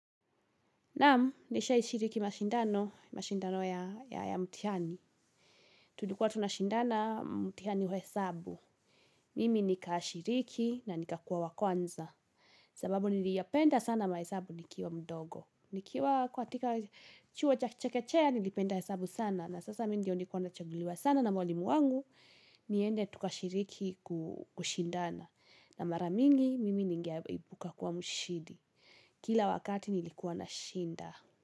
Naamu, nishai shiriki mashindano, mashindano ya mtihani. Tulikua tunashindana mtihani wa hesabu. Mimi nikaashiriki na nikakua wakwanza. Sababu niliyapenda sana mahesabu nikiwa mdogo. Nikiwa kwa tika chua cha chekechea nilipenda hesabu sana. Na sasa mindio nikuwa na chaguliwa sana na mwalimu wangu, niende tukashiriki kushindana. Na maramingi, mimi nigeaibuka kuwa mshidi. Kila wakati nilikuwa na shinda.